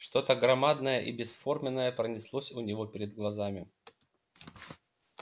что то громадное и бесформенное пронеслось у него перед глазами